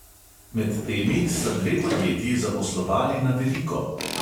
Med temi sta dve podjetji zaposlovali na veliko.